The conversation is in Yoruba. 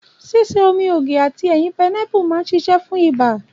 Ṣíṣe omi ògì àti ẹ̀yin painapu man sisé fún ọba